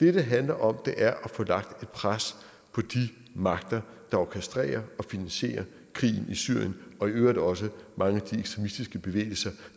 det det handler om er at få lagt et pres på de magter der orkestrerer og finansierer krigen i syrien og i øvrigt også mange af de ekstremistiske bevægelser